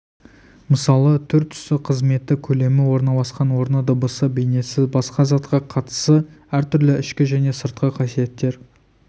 мысалы түр-түсі қызметі көлемі орналасқан орны дыбысы бейнесі басқа затқа қатысы әр түрлі ішкі және сыртқы қасиеттер